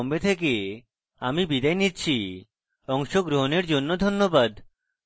I I T Bombay থেকে আমি বিদায় নিচ্ছি অংশগ্রহণের জন্য ধন্যবাদ